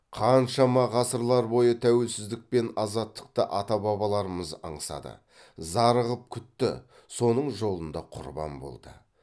қаншама ғасыр бойы тәуелсіздік пен азаттықты ата бабаларымыз аңсады зарығып күтті соның жолында құрбан болды